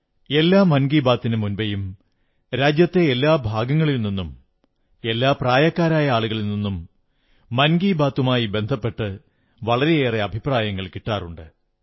എല്ലാ മൻ കീ ബാത്തിനു മുന്നോടിയായി രാജ്യത്തെ എല്ലാ ഭാഗങ്ങളിൽ നിന്നും എല്ലാ പ്രായക്കാരായ ആളുകളിൽ നിന്നും മൻ കീ ബാത്തുമായി ബന്ധപ്പെട്ട് വളരെയേറെ അഭിപ്രായങ്ങൾ കിട്ടാറുണ്ട്